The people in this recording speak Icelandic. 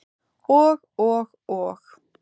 Og, og og.